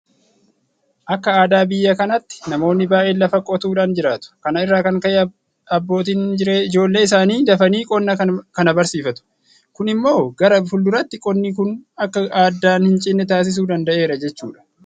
Akka aadaa biyya kanaatti namoonni baay'een lafa qotuudhaan jiraatu. Kana irraa kan ka'e abbootiin ijoollee isaanii dafanii qonna kana barsiifatu. Kun immoo gara fuulduraatti qonni kun akka addaan hincinne taasisuu danda'eera jechuudha.